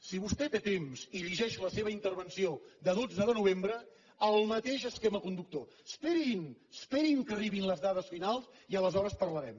si vostè té temps i llegeix la seva intervenció de dotze de novembre el mateix esquema conductor esperin esperin que arribin les dades finals i aleshores parlarem